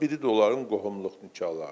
Biri də onların qohumluq nikahlarıdır.